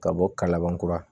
Ka bɔ kalaban kura